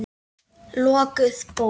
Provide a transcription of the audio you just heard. Lokuð bók.